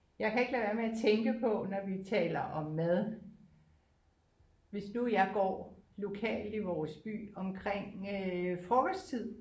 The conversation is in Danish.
Jeg kan ikke lade være med at tænke på når vi taler om mad hvis nu jeg går lokalt i vores by omkring øh frokosttid